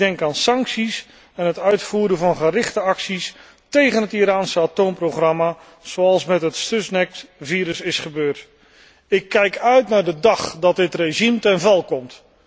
Ik denk aan sancties en het uitvoeren van gerichte acties tegen het Iraanse atoomprogramma, zoals met het Stuxnet virus is gebeurd. Ik kijk uit naar de dag dat dit regime ten val komt.